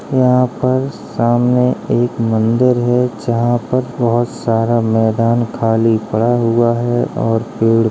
यहाँ पर सामने एक मंदिर है। जहाँ पर बहुत सारा मैदान खाली पड़ा हुआ है और पेड़ --